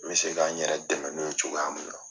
Me se k'an yɛrɛ dɛmɛ n'o ye cogoya min na.